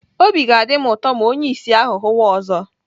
Obi ga-adị m ụtọ ma onye ìsì ahụ hụwa ọzọ.